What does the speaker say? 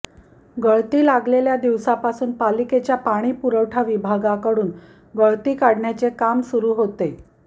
गळती लागलेल्या दिवसापासून पालिकेच्या पाणीपुरवठा विभागाकडून गळती काढण्याचे काम सुरु होते